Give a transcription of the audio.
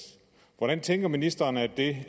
hvordan tænker ministeren at det